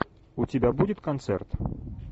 у тебя будет концерт